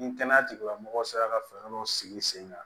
Ni kɛnɛya tigilamɔgɔw sera ka fɛɛrɛ dɔw sigi sen kan